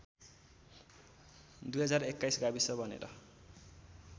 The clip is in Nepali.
२०२१ गाविस बनेर